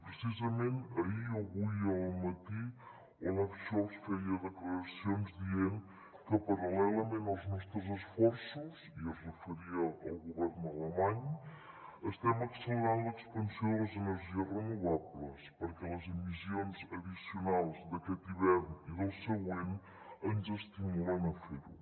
precisament ahir o avui al matí olaf scholz feia declaracions dient que paral·lelament als nostres esforços i es referia al govern alemany estem accelerant l’expansió de les energies renovables perquè les emissions addicionals d’aquest hivern i del següent ens estimulen a fer ho